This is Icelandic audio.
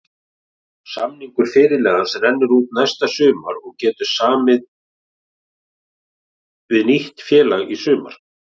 Samningur fyrirliðans rennur út næsta sumar og getur samið við nýtt félag í sumar.